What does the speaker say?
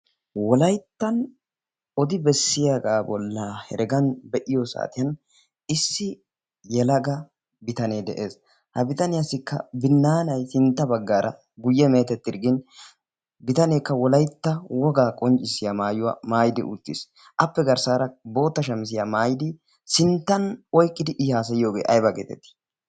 Wolayttan odi bessiyaagaa bolla heregan be'iyo saatiyan issi yelaga bitanee de'ees. ha bitaniyaassikka binnaanai sintta baggaara guyye meetettirggin bitaneekka wolaitta wogaa qonccissiya maayuwaa maayidi uttiis. appe garssaara bootta shamisiyaa maayidi sinttan oiqqidi i haasayiyoogee aiba geetettii